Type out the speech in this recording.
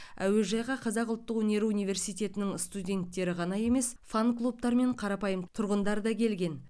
әуежайға қазақ ұлттық өнері университетінің студенттері ғана емес фанклубтар мен қарапайым тұрғындар да келген